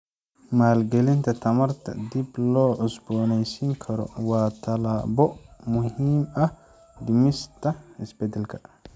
Maalgelinta tamarta dib loo cusbooneysiin karo waa tallaabo muhiim ah dhimista isbedelka.